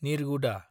निरगुदा